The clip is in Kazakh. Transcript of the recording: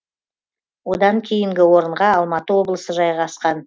одан кейінгі орынға алматы облысы жайғасқан